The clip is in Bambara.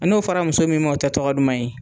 N'o fɔra muso min ma o tɛ tɔgɔ duman ye.